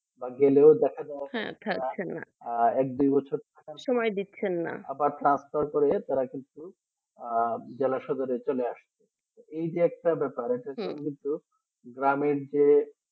আজ জেনারেল দেখা যায় যে এক দুই বছর সময় দিচ্ছেন না Transfer করে তারা কিন্তু আর বেলা সকালে চলে আসছে। এই যে একটা ব্যাপার আছে, গ্রামের যে